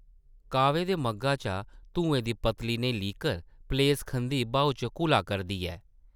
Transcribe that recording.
काह्वे दे मग्घा चा धुएं दी पतली नेही लीकर पलेस खंदी ब्हाऊ च घुला करदी ऐ ।